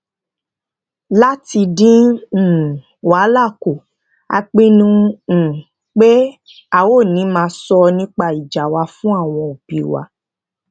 lati din um wahala ku a pinnu um pé a ò ní máa so nipa ija wa fun awon obi wa